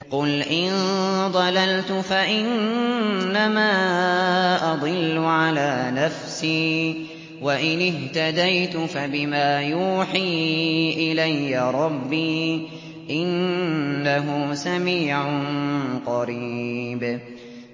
قُلْ إِن ضَلَلْتُ فَإِنَّمَا أَضِلُّ عَلَىٰ نَفْسِي ۖ وَإِنِ اهْتَدَيْتُ فَبِمَا يُوحِي إِلَيَّ رَبِّي ۚ إِنَّهُ سَمِيعٌ قَرِيبٌ